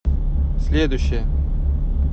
следующая